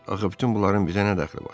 Axı bütün bunların bizə nə dəxli var?